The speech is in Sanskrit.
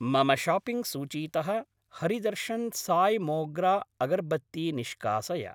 मम शाप्पिङ्ग् सूचीतः हरि दर्शन् साय् मोग्रा अगर्बत्ती निष्कासय।